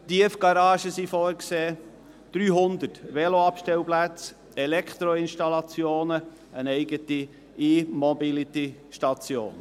Es sind Tiefgaragen vorgesehen, 300 Veloabstellplätze, Elektroinstallationen und eine eigene E-Mobility-Station.